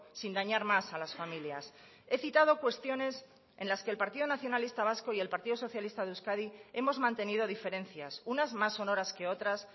sin dañar más a las familias he citado cuestiones en las que el partido nacionalista vasco y el partido socialista de euskadi hemos mantenido diferencias unas más sonoras que otras